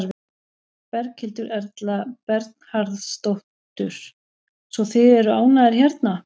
Berghildur Erla Bernharðsdóttur: Svo þið eru ánægðir hérna?